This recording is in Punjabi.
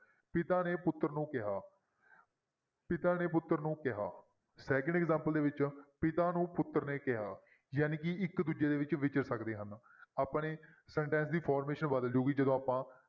ਪਿਤਾ ਨੇ ਪੁੱਤਰ ਨੂੰ ਕਿਹਾ ਪਿਤਾ ਨੇ ਪੁੱਤਰ ਨੂੰ ਕਿਹਾ second example ਦੇ ਵਿੱਚ ਪਿਤਾ ਨੂੰ ਪੁੱਤਰ ਨੇ ਕਿਹਾ ਜਾਣੀ ਕਿ ਇੱਕ ਦੂਜੇ ਦੇ ਵਿੱਚ ਵਿਚਰ ਸਕਦੇ ਹਨ, ਆਪਣੇ sentence ਦੀ formation ਬਦਲ ਜਾਏਗੀ ਜਦੋਂ ਆਪਾਂ